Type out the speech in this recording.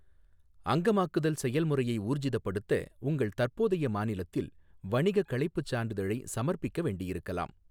அங்கமாக்குதல் செயல்முறையை ஊர்ஜிதப்படுத்த, உங்கள் தற்போதைய மாநிலத்தில் வணிகக் களைப்புச் சான்றிதழை சமர்ப்பிக்க வேண்டியிருக்கலாம்.